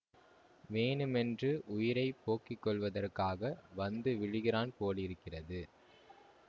வேணுமென்று உயிரை போக்கிக் கொள்வதற்காக வந்து விழுகிறான் போலிருக்கிறது